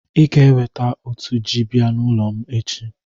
I ga-eweta otu ji bịa ụlọ m echi.